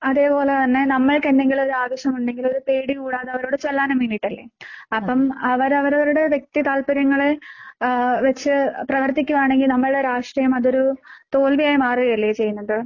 അതേപോലെ തന്നെ നമ്മൾക്കെന്തെങ്കിലൊരു ആവശ്യമുണ്ടെങ്കിലൊരു പേടി കൂടാതെ അവരോട് ചെല്ലാനും വേണ്ടീട്ടല്ലേ? അപ്പം അവരവരുടെ വ്യക്തിതാല്പര്യങ്ങളെ ഏഹ് വച്ച് പ്രവർത്തിക്കുകയാണെങ്കിൽ നമ്മുടെ രാഷ്ട്രീയം അതൊരു തോൽവിയായി മാറുകയല്ലേ ചെയ്യുന്നത്?